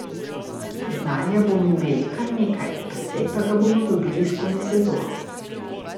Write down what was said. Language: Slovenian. Znanja bomo imeli kar nekaj, precej pa ga bomo dobili skozi sezono.